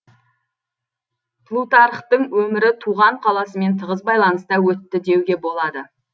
плутархтың өмірі туған қаласымен тығыз байланыста өтті деуге болады